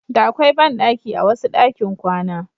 Da akwai banɗaki a wasu ɗakin kwana.